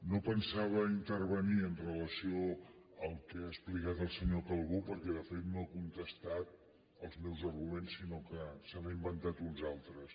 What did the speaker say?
no pensava intervenir amb relació al que ha explicat el senyor calbó perquè de fet no ha contestat els meus arguments sinó que se n’ha inventat uns altres